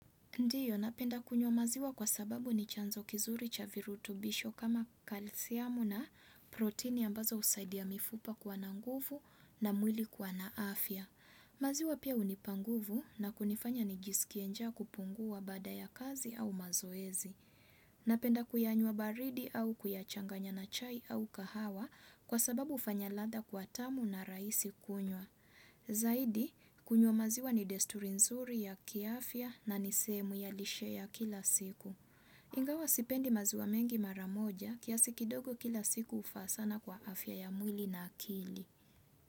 Ndiyo, napenda kunywa maziwa kwa sababu ni chanzo kizuri cha virutubisho kama kalsiamu na protini ambazo husaidia mifupa kuwa na nguvu na mwili kuwa na afya. Maziwa pia hunipa nguvu na kunifanya nijisikie njaa kupungua baada ya kazi au mazoezi. Napenda kuyanywa baridi au kuyachanganya na chai au kahawa kwa sababu ufanya ladha kuwa tamu na raisi kunywa. Zaidi, kunywa maziwa ni desturi nzuri ya kiafya na ni sehemu ya lishe ya kila siku. Ingawa sipendi maziwa mengi mara moja kiasi kidogo kila siku ufaa sana kwa afya ya mwili na akili.